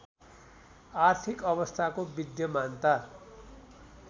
आर्थिक अवस्थाको विद्यमानता